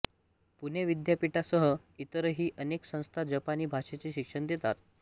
पुणे विद्यापीठासह इतरही अनेक संस्था जपानी भा़षेचे शिक्षण देतात